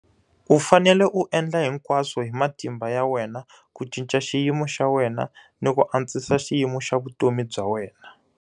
U fanele u endla hinkwaswo hi matimba ya wena ku cinca xiyimo xa wena ni ku antswisa xiyimo xa vutomi bya wena,